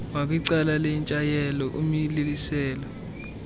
ngakwicala lentshayelelo umiliselo